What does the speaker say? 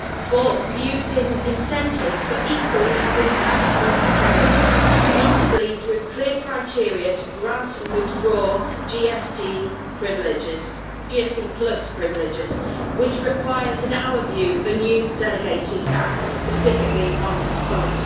Fourth, using incentives but equally having adequate deterrents, notably through clear criteria to grant and withdraw GSP privileges, which requires, in our view, a new delegated act specifically on this point.